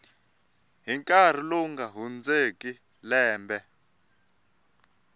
nkarhi lowu nga hundzeki lembe